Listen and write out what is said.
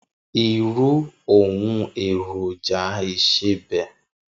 Irù óoùn érójà isébè